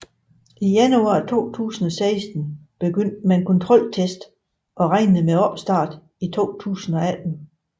I januar 2016 begyndte man kontroltests og regnede med opstart i 2018